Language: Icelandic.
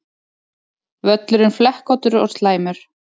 Völlurinn flekkóttur og slæmur